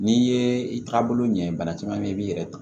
N'i ye i taabolo ɲɛ ye bana caman bɛ ye i b'i yɛrɛ ta